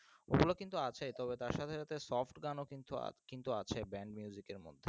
ওগুলো কিন্তু আছে তবে তার সাথে সাথে soft গানও কিন্তু আ কিন্তু আছে band music এর মধ্যে